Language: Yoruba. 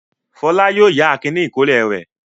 Fọlá yóò yá Akin ní ìkọ́lé rẹ̀.